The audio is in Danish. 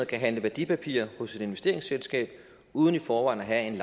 kan handle værdipapirer hos et investeringsselskab uden i forvejen at